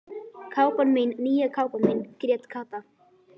Kápan mín, nýja kápan mín grét Kata.